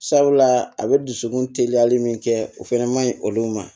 Sabula a be dusukun teliyali min kɛ o fɛnɛ ma ɲi olu ma